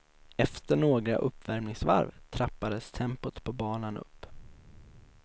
Efter några uppvärmningsvarv trappades tempot på banan upp.